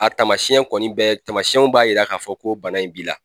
A tamasɛn kɔni bɛɛ tamasɛnw b'a yira k'a fɔ ko bana in b'i la